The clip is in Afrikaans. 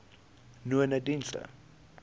nonedienste